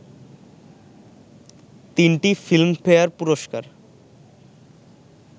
তিনটি Filmfare পুরস্কার